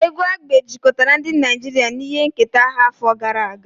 Egwu Agbe jikọtara ndị Naijiria na ihe nketa ha afọ gara aga.